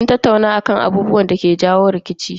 Sun tattauna akan abubuwan da yake jawo musu rikici.